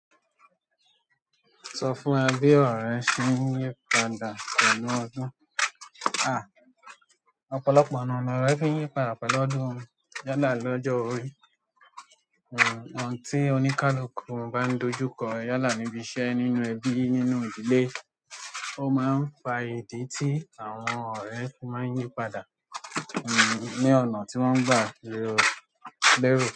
Sọ fún wa bi ọ̀rẹ́ ṣí ń yípadà pẹ̀lú ọdún. À, ọ̀pọ̀lọpọ̀ ọ̀nà ni ọ̀nà fi ń yípadà pẹ̀lú ọdún. Yálà lọ́jọ́ orí, ọ̀nà tí oníkálukú bá ń dojú kọ yálà níbi iṣẹ́ nínú ẹbí, nínú ìdílé, ó má ń fa ìdí tí àwọn ọ̀rẹ́ fi má ń yípadà, ehn, ní ọ̀nà tí wọ́n gbà lérò.